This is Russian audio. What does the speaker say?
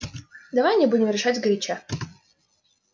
давай не будем решать сгоряча